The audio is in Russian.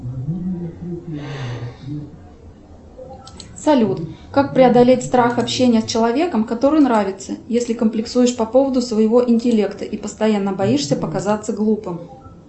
салют как преодолеть страх общения с человеком который нравится если комплексуешь по поводу своего интеллекта и постоянно боишься показаться глупым